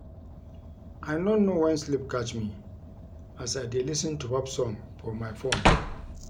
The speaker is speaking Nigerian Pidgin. I no know wen sleep catch me as I dey lis ten to pop song for my phone